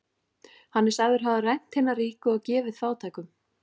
Hann er sagður hafa rænt hina ríku og gefið fátækum.